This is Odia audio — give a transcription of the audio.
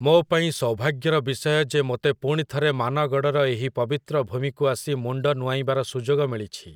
ମୋ ପାଇଁ ସୌଭାଗ୍ୟର ବିଷୟ ଯେ ମୋତେ ପୁଣିଥରେ ମାନଗଡ଼ର ଏହି ପବିତ୍ର ଭୂମିକୁ ଆସି ମୁଣ୍ଡ ନୁଆଁଇବାର ସୁଯୋଗ ମିଳିଛି ।